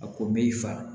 A ko b'i fa